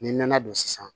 N'i nana don sisan